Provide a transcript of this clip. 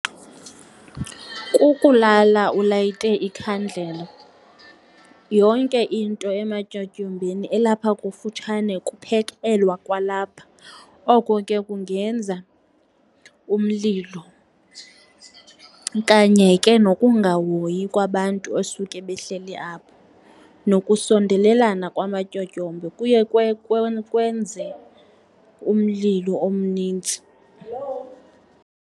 Kukulala ulayite ikhandlela. Yonke into ematyotyombeni ilapha kufutshane, kuphekelwa kwalapha. Oko ke kungenza umlilo kanye ke nokungahoyi kwabantu osuke behleli apho. Nokusondelelena kwamatyotyombe kuye kwenze umlilo omnintsi.